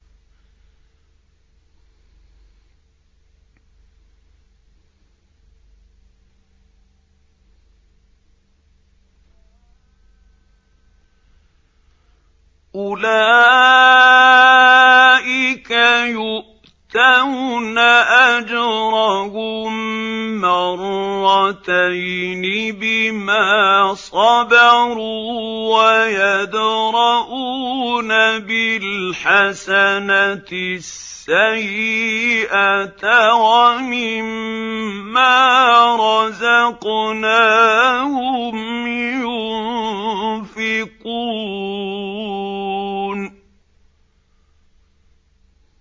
أُولَٰئِكَ يُؤْتَوْنَ أَجْرَهُم مَّرَّتَيْنِ بِمَا صَبَرُوا وَيَدْرَءُونَ بِالْحَسَنَةِ السَّيِّئَةَ وَمِمَّا رَزَقْنَاهُمْ يُنفِقُونَ